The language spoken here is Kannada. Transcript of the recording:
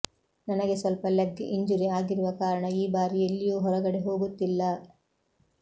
ನನಗೆ ಸ್ವಲ್ಪ ಲೆಗ್ ಇಂಜುರಿ ಆಗಿರುವ ಕಾರಣ ಈ ಬಾರಿ ಎಲ್ಲಿಯೂ ಹೊರಗಡೆ ಹೋಗುತ್ತಿಲ್ಲ